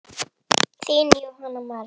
Þín Jóhanna María.